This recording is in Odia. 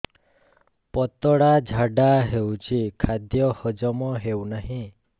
ପତଳା ଝାଡା ହେଉଛି ଖାଦ୍ୟ ହଜମ ହେଉନାହିଁ